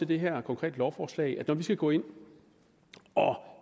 det her konkrete lovforslag vurderet at når vi skal gå ind og